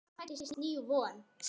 Sindri: Sem þýðir?